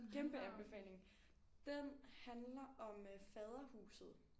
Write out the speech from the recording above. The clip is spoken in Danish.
Kæmpe anbefaling. Den handler om øh Faderhuset